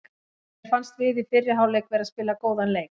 Mér fannst við í fyrri hálfleik vera að spila góðan leik.